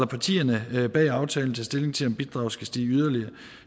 partierne bag aftalen tage stilling til om bidraget skal stige yderligere